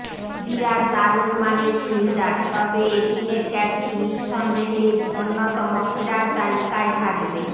বিরাট দারুণ মানের ফিল্ডার তবে এদিনের ক্যাচটি নিঃসন্দেহে অন্যতম সেরার তালিকায় থাকবে